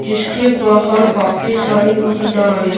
जिसके बाहर काफी सारी महिलाएं --